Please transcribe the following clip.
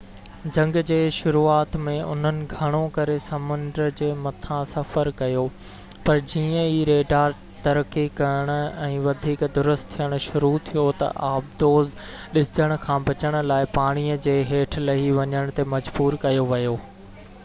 جنگ جي شروعات ۾ انهن گھڻو ڪري سمنڊ جي مٿان سفر ڪيو پر جيئن ئي ريڊار ترقي ڪرڻ ۽ وڌيڪ درست ٿين شروع ٿيو ته آبدوز ڏسجڻ کان بچڻ لاءِ پاڻيءَ جي ھيٺ لھي وڃڻ تي مجبور ڪيو ويو